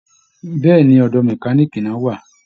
Bẹ́ẹ̀ ni, ọ̀dọ̀ mẹkáníìkì ni wọ́n wà